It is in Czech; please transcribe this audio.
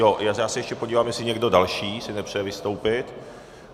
Jo, já se ještě podívám, jestli někdo další si nepřeje vystoupit.